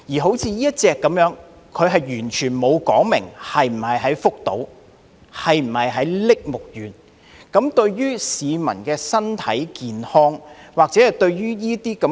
好像這款飲品，是完全沒有說明是否在福島或栃木縣製造，對於市民的身體健康會否有影響？